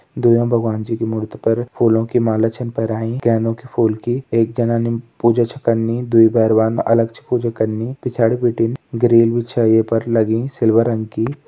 दुईयों भगवान जी कि मुर्ति पर फूलों की माला छ पैराईं गहनों के फूल की एक जनानी पूजा छ कनी दुई बैरवान अलग छ पूजा कनी पिछाड़ी बिटिन ग्रिल भी छे ये पर लगीं सिल्वर रंग की।